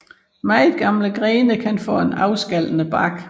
Meget gamle grene kan få en afskallende bark